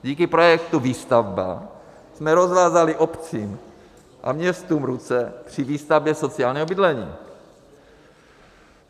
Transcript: Díky projektu Výstavba jsme rozvázali obcím a městům ruce při výstavbě sociálního bydlení.